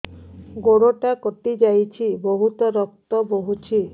ଗୋଡ଼ଟା କଟି ଯାଇଛି ବହୁତ ରକ୍ତ ବହୁଛି